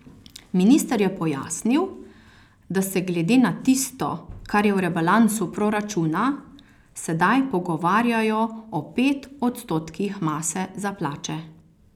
Minister je pojasnil, da se glede na tisto, kar je v rebalansu proračuna, sedaj pogovarjajo o pet odstotkih mase za plače.